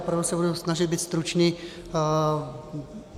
Opravdu se budu snažit být stručný.